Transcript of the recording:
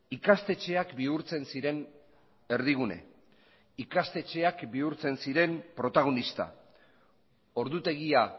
ikastetxeak bihurtzen ziren erdigune ikastetxeak bihurtzen ziren protagonista ordutegia